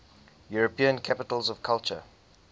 european capitals of culture